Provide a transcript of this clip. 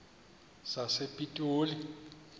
sasepitoli